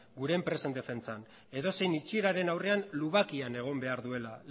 gure enpresen defentsan edozein itxieraren aurrean lubakian egon behar duela